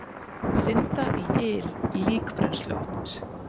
Synda í yl líkbrennsluofns